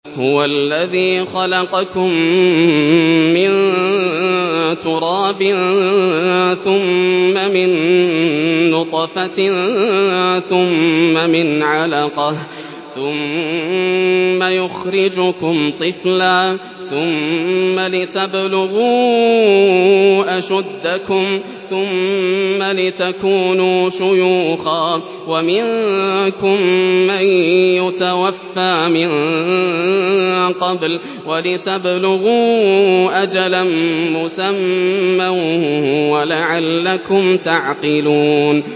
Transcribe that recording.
هُوَ الَّذِي خَلَقَكُم مِّن تُرَابٍ ثُمَّ مِن نُّطْفَةٍ ثُمَّ مِنْ عَلَقَةٍ ثُمَّ يُخْرِجُكُمْ طِفْلًا ثُمَّ لِتَبْلُغُوا أَشُدَّكُمْ ثُمَّ لِتَكُونُوا شُيُوخًا ۚ وَمِنكُم مَّن يُتَوَفَّىٰ مِن قَبْلُ ۖ وَلِتَبْلُغُوا أَجَلًا مُّسَمًّى وَلَعَلَّكُمْ تَعْقِلُونَ